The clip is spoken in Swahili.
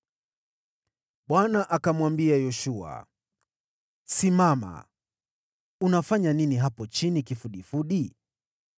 Bwana akamwambia Yoshua, “Simama! Unafanya nini hapo chini kifudifudi?